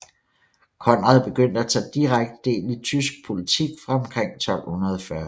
Konrad begyndte at tage direkte del i tysk politik fra omkring 1240